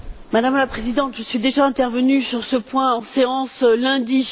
Madame la Présidente, je suis déjà intervenue sur ce point en séance lundi.